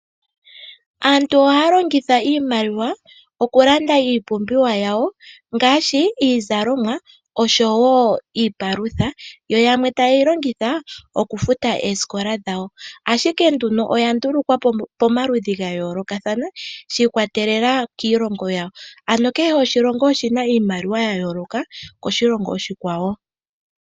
Aantu ohaya longitha iimaliwa okulanda iipumbiwa yawo ngaashi iizalomwa osho wo iipalutha, yamwe taye yi kongitha okufuta oosikola dhawo. Ashike oya ndulukwa ya yooloka shiikwatelela koshilongo yawo.